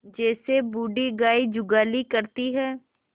जैसे बूढ़ी गाय जुगाली करती है